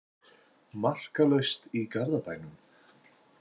Markalaust í Garðabænum